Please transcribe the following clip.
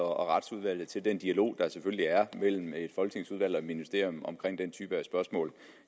og retsudvalget til den dialog der selvfølgelig er mellem et folketingsudvalg og et ministerium omkring den type af spørgsmål